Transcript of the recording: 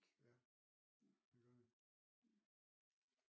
Ja